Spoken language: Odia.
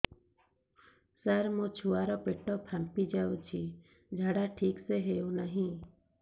ସାର ମୋ ଛୁଆ ର ପେଟ ଫାମ୍ପି ଯାଉଛି ଝାଡା ଠିକ ସେ ହେଉନାହିଁ